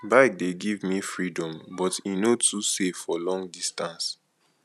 bike dey give me freedom but e no too safe for long distance